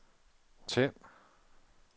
tænd